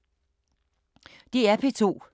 DR P2